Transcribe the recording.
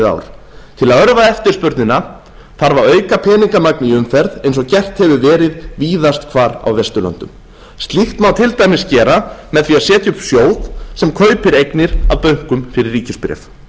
ár til að örva eftirspurnina þarf að auka peningamagn í umferð eins og gert hefur verið víðast hvar á vesturlöndum slíkt má til dæmis gera með því að setja upp sjóð sem kaupir eignir af bönkum fyrir ríkisbréf